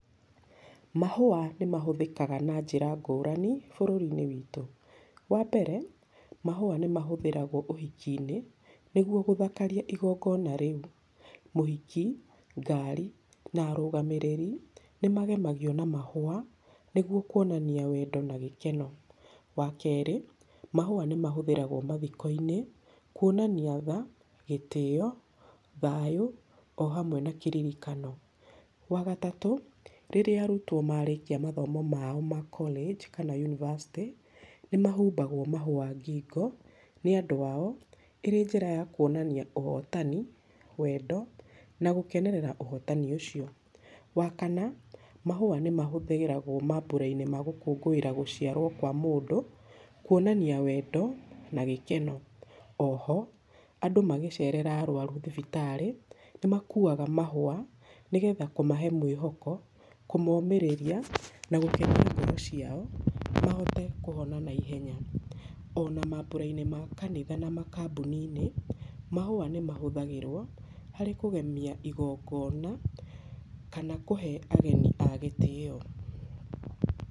Mahũa nĩ mahũthĩkaga na njĩra ngũrani bũrũri-inĩ wĩtũ. Wa mbere, mahũa nĩ mahũthĩragwo ũhiki-inĩ nĩgwo gũthakaria igongona rĩu. Mũhiki, ngari na arũgamĩrĩri nĩ magemagio na mahũa nĩgwo kwonania wendo na gĩkeno. Wa kerĩ, mahũa nĩ mahũthĩragwo mathiko-inĩ, kwonania tha, gĩtĩo, thayũ o hamwe na kĩririkano. Wa gatatũ, rĩrĩa arutwo marĩkia mathomo mao ma college kana university, nĩ mahumbagwo mahũa ngingo nĩ andũ ao ĩrĩ njĩra ya kwonania ũhotani, wendo na gũkenerera ũhotani ũcio. Wa kana, mahũa nĩ mahũthĩragwo mambũra-inĩ ma gũkũngũĩra gũciarwo kwa mũndũ, kwonania wendo na gĩkeno. Oho andũ magĩcerera arũaru thibitarĩ nĩ makuaga mahũa nĩgetha kũmahe mwĩhoko, kũmomĩrĩria na gũkenia ngoro ciao mahote kũhona naihenya. Ona mambũra-inĩ ma kanitha na makambuni-inĩ, mahũa nĩ mahũthagĩrwo harĩ kũgemia igongona kana kũhe ageni a gĩtĩyo.